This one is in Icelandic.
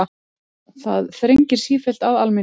Það þrengir sífellt að almenningi